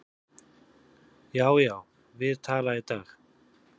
Já, já, við tala í dag